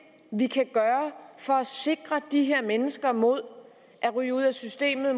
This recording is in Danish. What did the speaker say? vi kan gøre for at sikre de her mennesker mod at ryge ud af systemet